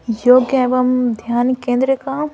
योग्य एवं ध्यान केंद्र का--